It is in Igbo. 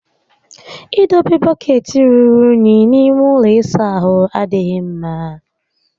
Ị dọba bọkeetị rùrù únyí n'ime ụlọ ịsa ahụ adịghị mmá